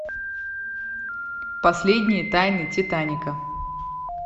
последние тайны титаника